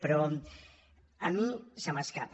però a mi se m’escapa